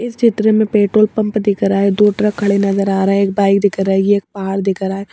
इस चित्र में पेट्रोल पंप दिख रहा है दो ट्रक खड़े नजर आ रहा है एक बाइक दिख रहा है ये एक पहाड़ दिख रहा है।